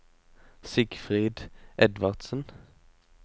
Sigfrid Edvardsen